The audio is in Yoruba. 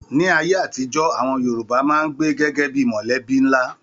Ní ayé àtijọ́, àwọn Yorùbá máa n gbé gẹgẹ bíi mọlẹbi nlá.